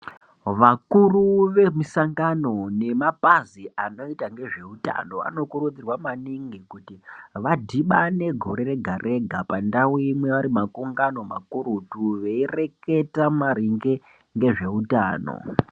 Vakuru vemisangano nemapazi anoita ngezveutano anokurudzirwa maningi kuti vadhibane gore rega-rega pandau imwe vari makungano makurutu veireketa maringe ngezveutano.